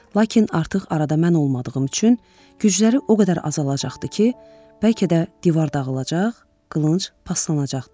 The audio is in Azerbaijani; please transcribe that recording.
Lakin artıq arada mən olmadığım üçün gücləri o qədər azalacaqdı ki, bəlkə də divar dağılacaq, qılınc paslanacaqdı.